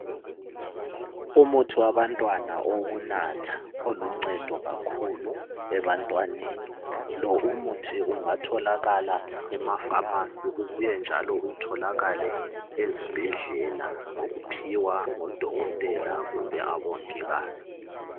Umuthi wabantwana owokunatha oluncedo kakhulu ebantwaneni , lo umuthi ungatholakala emapharmacy ubuye njalo utholakale ezibhedlela ngokuphiwa ngudokotela kumbe obongikazi